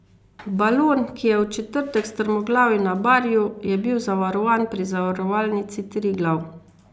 Balon, ki je v četrtek strmoglavil na Barju, je bil zavarovan pri Zavarovalnici Triglav.